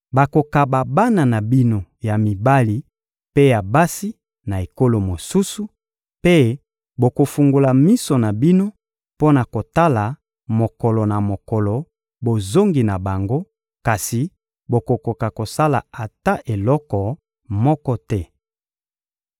Bakokaba bana na bino ya mibali mpe ya basi na ekolo mosusu, mpe bokofungola miso na bino mpo na kotala mokolo na mokolo bozongi na bango, kasi bokokoka kosala ata eloko moko te.